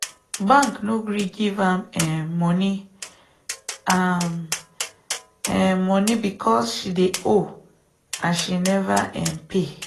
bank no gree give am um moni am um moni because she dey owe and she never um pay.